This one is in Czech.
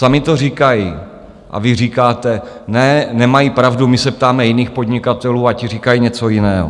Sami to říkají, a vy říkáte ne, nemají pravdu, my se ptáme jiných podnikatelů a ti říkají něco jiného.